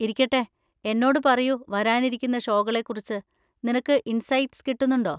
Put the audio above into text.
ഇരിക്കട്ടെ, എന്നോട് പറയൂ, വരാനിരിക്കുന്ന ഷോകളെ കുറിച്ച് നിനക്ക് ഇന്‍സൈറ്റ്സ് കിട്ടുന്നുണ്ടോ?